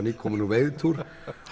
nýkominn úr veiðitúr